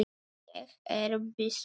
Ég er byssu laus.